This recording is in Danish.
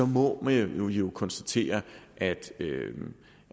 må man jo konstatere at